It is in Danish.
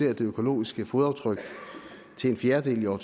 af det økologiske fodaftryk til en fjerdedel i år